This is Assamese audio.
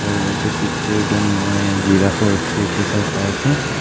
আৰু এটা পিকচাৰ তে মই জিৰাফ ৰ স্তেচো চাই পাই আছোঁ.